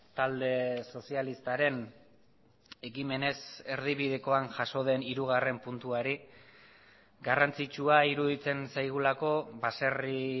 talde sozialistaren ekimenez erdibidekoan jaso den hirugarren puntuari garrantzitsua iruditzen zaigulako baserri